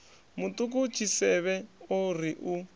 muṱuku tshisevhe o ri u